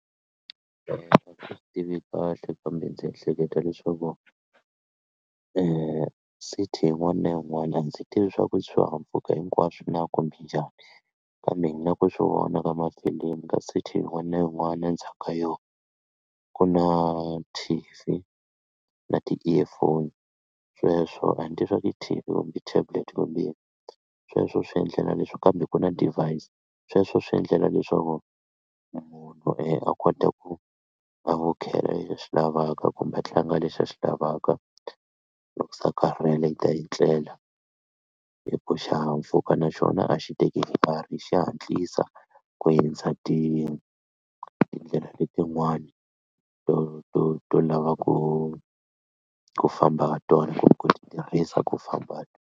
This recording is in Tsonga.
Swi tivi kahle kambe ndzi ehleketa leswaku e city yin'wana na yin'wana a ndzi tivi swaku swihahampfhuka hinkwaswo na kumbe njhani kambe na ku swi vona ka mafilimu ka city yin'wana na yin'wana endzhaku ka yona ku na T_V na ti-earphone sweswo a ni ri i kumbe tablet kumbe sweswo swi endlela leswi kambe ku na device sweswo swi endlela leswaku munhu a kota ku a vukhela lexi a xi lavaka kumbe a tlanga lexi a xi lavaka loko se a karhele i etlela hi ku xihahampfhuka naxona a xi teki nkarhi xa hatlisa ku hindza ti tindlela letin'wani to to to lava ku ku famba ha tona kumbe ku tirhisa ku famba ha .